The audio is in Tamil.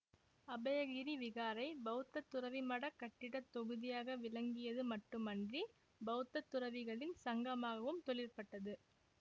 அபயகிரி விகாரை பௌத்த துறவிமடக் கட்டிட தொகுதியாக விளங்கியது மட்டும் அன்றி பௌத்த துறவிகளின் சங்கமாகவும் தொழிற்பட்டது